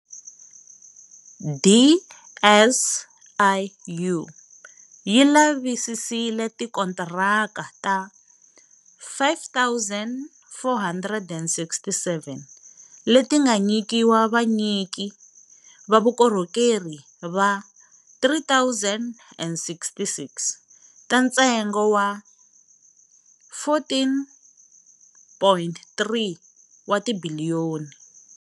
DSIU yi lavisisile tikontiraka ta 5 467 leti nga nyikiwa vanyiki va vukorhokeri va 3 066, ta ntsengo wa R14.3 wa tibiliyoni.